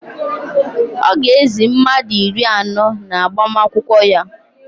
Ọ ga-ézī mmadụ iri anọ n'agbamakwụkwọ ya